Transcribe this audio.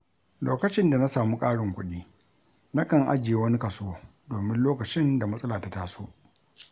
Lokacin da na samu ƙarin kuɗi, nakan ajiye wani kaso domin lokacin da matsala ta taso.